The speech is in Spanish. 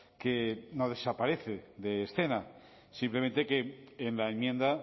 que no desaparece de escena simplemente que en la enmienda